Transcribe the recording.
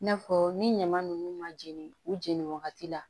I n'a fɔ ni ɲama ninnu ma jeni u jeneni wagati la